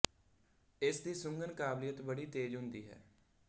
ਇਸ ਦੀ ਸੁੰਘਣ ਦੀ ਕਾਬਲੀਅਤ ਬੜੀ ਤੇਜ਼ ਹੁੰਦੀ ਹੈ